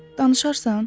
Danışarsan?